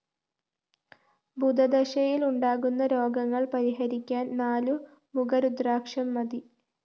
ബുധദശയില്‍ ഉണ്ടാകുന്ന രോഗങ്ങള്‍ പരിഹരിക്കാന്‍ നാലു മുഖ രുദ്രാക്ഷം മതി